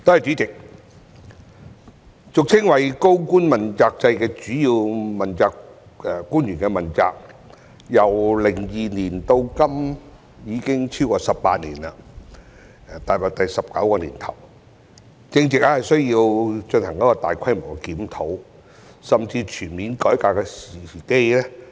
主席，俗稱"高官問責制"的主要官員問責制，由2002年至今已經實行超過18年，踏入第十九個年頭，正值需要進行大規模檢討、甚至全面改革的時機。